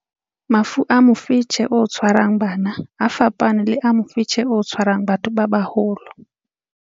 Mafu a mofetshe o tshwarang bana a fapane le a mofetshe o tshwarang batho ba baholo.